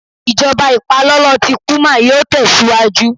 Ijọba ipalọlọ ti puma yíò tẹsiwaju